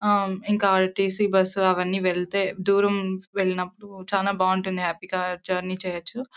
ఇంకా RTC. Bus అవన్నీ వెళ్తే దూరం వెళ్తే నపుడు చాల బాగుంటుంది హ్యాపీ గా జర్నీ చెయ్యొచ్చు.